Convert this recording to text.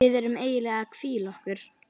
Við erum eiginlega að hvíla okkur.